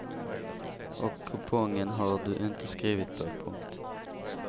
Och kupongen har du inte skrivit på. punkt